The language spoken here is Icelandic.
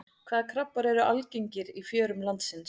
Hvaða krabbar eru algengir í fjörum landsins?